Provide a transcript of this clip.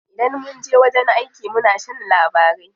Idan munje wajen aiki muna shan labarai.